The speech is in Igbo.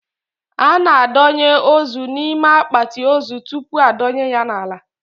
A na a donye ozu n'ime akpati ozu tupu a dọnye ya n'ala